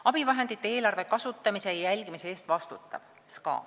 Abivahendite eelarve kasutamise ja jälgimise eest vastutab SKA.